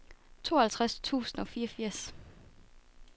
tooghalvtreds tusind og fireogfirs